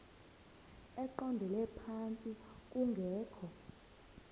eqondele phantsi kungekho